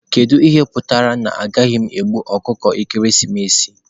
Kedu ihe kpatara na anaghị m egbu ọkụkọ ekeresimesi?